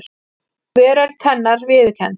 Veröld hennar viðurkennd.